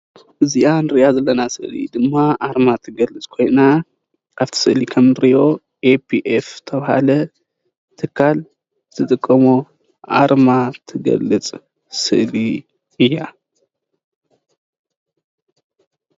እዚኣ ንርእያ ዘለና ስእሊ ድማ ኣርማ ትገልፅ ኮይና ኣብቲ ስእሊ ከም እንርእዮ APF ዝተባሃለ ትካል ዝጥቀሞ ኣርማ ትገልፅ ስእሊ እያ።